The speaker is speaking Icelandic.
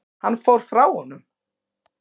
Hann fór frá honum.